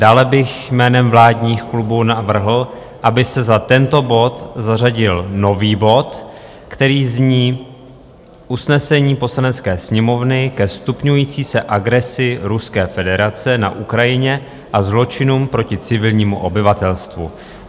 Dále bych jménem vládních klubů navrhl, aby se za tento bod zařadil nový bod, který zní Usnesení Poslanecké sněmovny ke stupňující se agresi Ruské federace na Ukrajině a zločinům proti civilnímu obyvatelstvu.